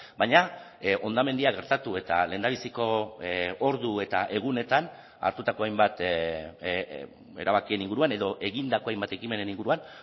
baina hondamendia gertatu eta lehendabiziko ordu eta egunetan hartutako hainbat erabakien inguruan edo egindako hainbat ekimenen inguruan